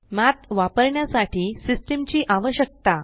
Mathवापरण्यासाठी system ची आवश्यकता